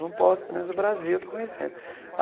Não posso, pelo menos o Brasil eu estou conhecendo.